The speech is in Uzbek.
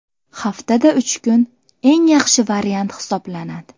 Haftada uch kun eng yaxshi variant hisoblanadi.